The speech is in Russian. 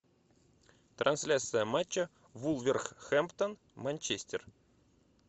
трансляция матча вулверхэмптон манчестер